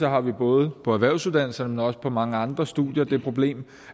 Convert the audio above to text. har vi både på erhvervsuddannelserne men også på mange andre studier det problem